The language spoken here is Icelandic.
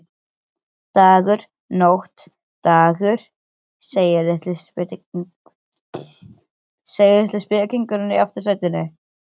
Dagur, nótt, dagur, segir litli spekingurinn í aftursætinu.